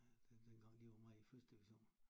Dengang de var meget i første division